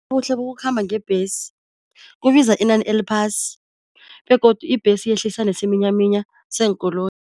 Ubuhle bokukhamba ngebhesi. Kubiza inani eliphasi, begodu ibhesi yehlisa nesiminyaminya seenkoloyi.